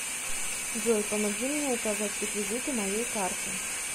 джой помоги мне указать реквизиты моей карты